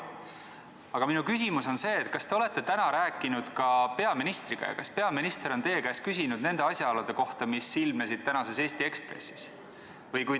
Aga minu küsimus on selline: kas te olete täna rääkinud ka peaministriga ja kas peaminister on teie käest küsinud nende asjaolude kohta, mis ilmnesid tänases Eesti Ekspressis?